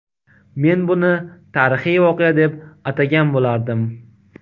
Men buni tarixiy voqea deb atagan bo‘lardim.